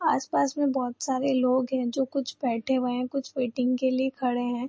आस-पास में बहोत सारे लोग है जो कुछ बैठे हुए हैं कुछ वैटिंग के लिए खड़े हैं।